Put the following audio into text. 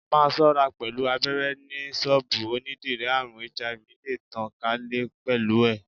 Máa ṣọ́ra pẹ̀lú abéré ni ṣọ́bùù onídìrí, àrùn HIV le tàn ká lè pẹ̀lú ẹ̀.